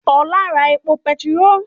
Ó lọ ra epo petiró